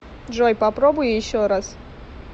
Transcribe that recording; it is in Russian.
джой попробуй еще раз